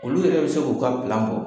Olu yɛrɛ bi se k'u ka bɔ.